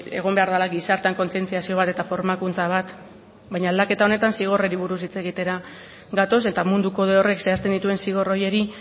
egon behar dela gizartean kontzientziazio bat eta formakuntza bat baina aldaketa honetan zigorrari buruz hitz egitera gatoz eta mundu kode horrek zehazten dituen zigor horiei